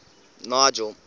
nigel